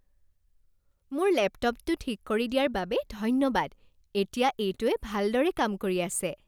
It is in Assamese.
মোৰ লেপটপটো ঠিক কৰি দিয়াৰ বাবে ধন্যবাদ। এতিয়া এইটোৱে ভালদৰে কাম কৰি আছে।